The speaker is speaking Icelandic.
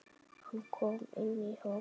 Hann kom inn í hópinn.